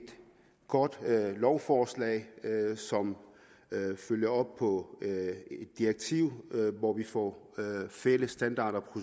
godt lovforslag som følger op på et direktiv hvor vi får fælles standarder og